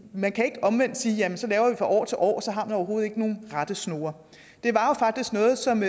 man kan ikke omvendt sige at det så laves fra år til år for så har man overhovedet ikke nogen rettesnore det var jo faktisk noget som